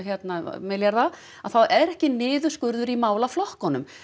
milljarða að þá er ekki niðurskurður á málaflokkunum